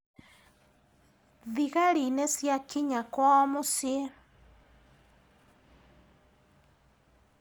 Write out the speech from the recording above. Thigari nĩciakinya kwao mũciĩ.